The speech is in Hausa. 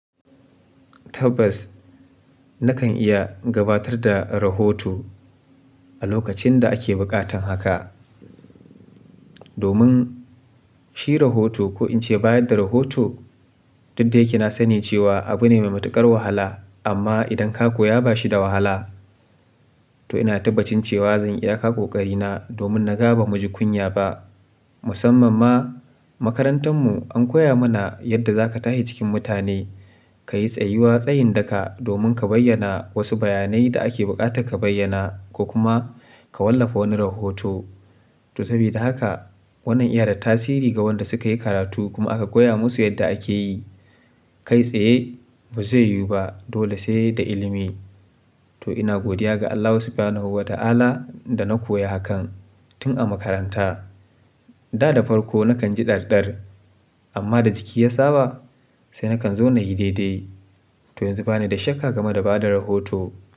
Tabbas nakan iya gabatar da rahoto a lokacin da ake buƙatan haka. Domin shi rahoto ko in ce bayar da rahoto, dukda yakena sani cewa abu ne mai matuƙar wahala amma idan ka koya ba shi da wahala. To ina tabbacin cewa zan iya ka ƙoƙarina domin na gaba mu ji kunya ba. Musamman ma makarantar mu an koya mana yadda za ka tashi cikin mutane, ka yi tsayiwa tsayin daka domin ka bayyana wasu bayanai da ake buƙatar ka bayyana ko kuma ka wallafa wani rahoto. To sabida haka wannan iya da tasiri ga wanda suka yi karatu kuma aka koya musu yadda ake yi. Kai tsaye ba zai yiwu ba dole sai da ilimi. To ina godiya ga Allahu Subhanahu wa ta'ala da na koya hakan tun a makaranta. Da da farko nakan ji ɗarɗar amma da jiki ya saba sai nakan zona yi daidai. To yanzu bani da shakka game da bada rahoto.